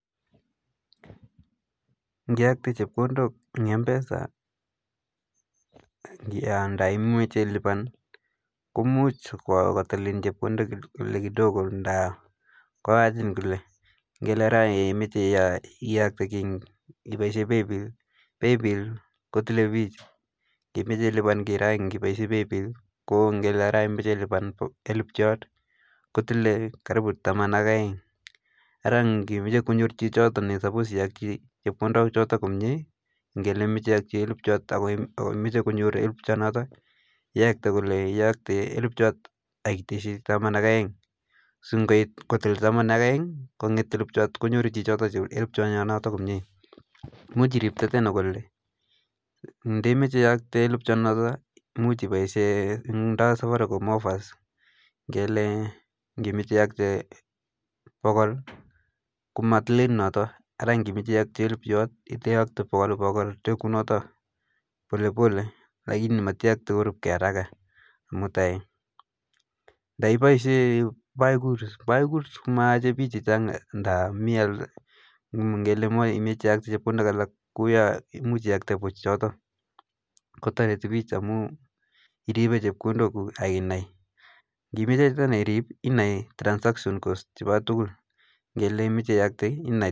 nginemu chepkondok ing mpesa anan ilipan komuch kotilin chepkondok ngele sai imache ilipane paybill iyokte elipu kotilin siling taman ak aeng ngimeche konyor chichoto elipu noto komakat iyokte elipu ako siling taman ak aeng si ngipokonem elupchot kotil taman ak aeng choto ngimeche iyokte elupchot noto kotinye safaricom offers kongimeche iyokte pokol iyokti pole pole akoi koit elipu anan ipaishe buy goods till komatile chi key akotoreti piich ing ripet ap chepkondok.